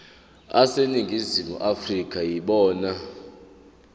aseningizimu afrika yibona